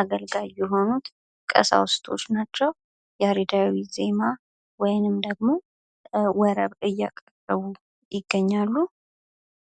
አገልጋይ የሆኑት ቀሳውስቶች ናቸው። ያሬዳዊ ዜማ ወይንም ደሞ ወረብ እያቀረቡ ይገኛሉ።